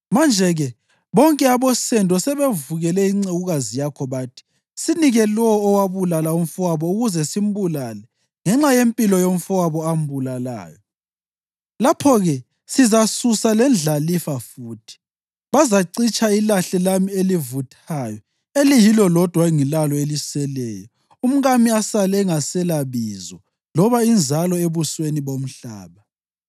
Manje-ke bonke abosendo sebevukele incekukazi yakho, bathi, ‘Sinike lowo owabulala umfowabo ukuze simbulale ngenxa yempilo yomfowabo ambulalayo; lapho-ke sizasusa lendlalifa futhi.’ Bazacitsha ilahle lami elivuthayo eliyilo lodwa engilalo eliseleyo, umkami asale engaselabizo loba inzalo ebusweni bomhlaba.”